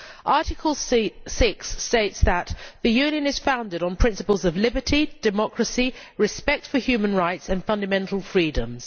Article 6 states that the Union is founded on the principles of liberty, democracy and respect for human rights and on fundamental freedoms.